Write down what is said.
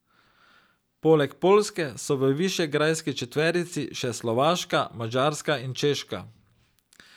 Poleg Poljske so v Višegrajski četverici še Slovaška, Madžarska in Češka.